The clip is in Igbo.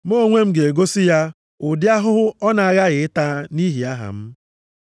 Mụ onwe m ga-egosi ya ụdị ahụhụ ọ na-aghaghị ịta nʼihi aha m.”